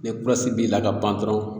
Ne kurasi b'i la ka ban dɔrɔn